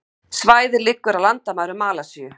Svæðið liggur að landamærum Malasíu